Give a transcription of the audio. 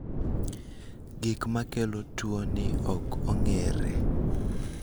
gigo makelo tuoni ok ong'ere